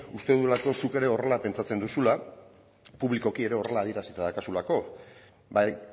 uste dudalako zuk ere horrela pentsatzen duzula publikoki ere horrela adierazita daukazulako bai